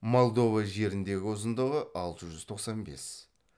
молдова жеріндегі ұзындығы алты жүз тоқсан бес